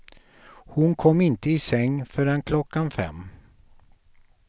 Hon kom inte i säng förrän klockan fem.